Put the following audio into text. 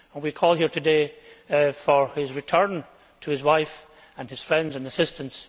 We call here today for his return to his wife, his friends and assistants.